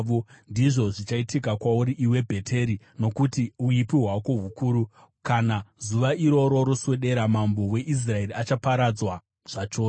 Ndizvo zvichaitika kwauri, iwe Bheteri, nokuti uipi hwako hukuru. Kana zuva iroro roswedera, mambo weIsraeri achaparadzwa zvachose.